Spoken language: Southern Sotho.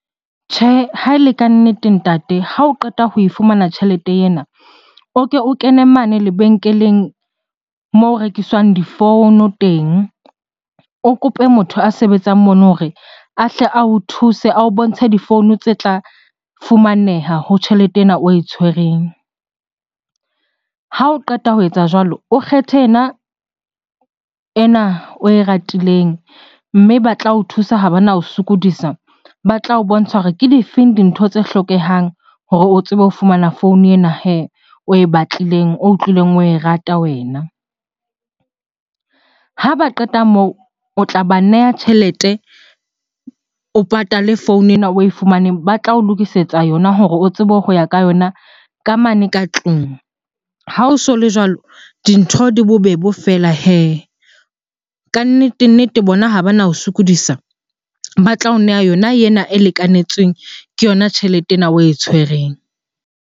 Tjhe, ha e le kannete ntate ha o qeta ho e fumana tjhelete ena, o ke o kene mane lebenkeleng moo ho rekiswang difounu teng. O kope motho a sebetsang mono hore a hle ao thuse, ao bontshe difounu tse tla fumaneha ho tjhelete ena oe tshwereng. Ha o qeta ho etsa jwalo, o kgethe ena oe ratileng mme ba tla o thusa ha bana o sokodisa. Ba tla o bontsha hore ke di feng dintho tse hlokehang hore o tsebe ho fumana founu ena hee oe batlileng, o utlwileng oe rata wena. Ha ba qeta moo, o tla ba neha tjhelete o patale founu ena oe fumaneng. Ba tla o lokisetsa yona hore o tsebe ho ya ka yona ka mane ka tlung. Ha o so le jwalo, dintho di bobebe feela hee. Kannete-nnete bona ha bana o sokodisa, ba tla o neha yona ena e lekanetsweng ke yona tjhelete ena oe tshwereng.